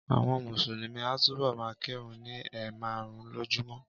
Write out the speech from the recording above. Àwọn Mùsùlùmí a túbọ̀ ma kírun ni ẹ̀ márùn-ún lójúmọ́